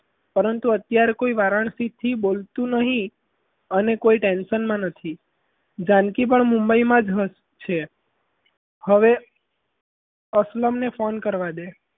પરંતુ અત્યારે વારાણસીમાં કોઈ વારાણસી થી બોલતું નહીં અને કોઈ tension માં નથી જાનકી પણ મુંબઈમાં છે હવે તમે phone કરવા દે.